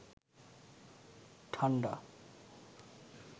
ঠান্ডা